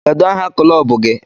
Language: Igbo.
Kedu aha kụlọbụ gi?